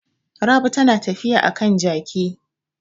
Rabi tana tafiya a kan jaki.